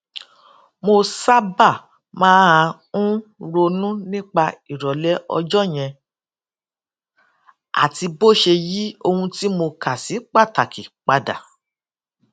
mo sábà máa ń ronú nípa ìròlé ọjó yẹn àti bó ṣe yí ohun tí mo kà sí pàtàkì padà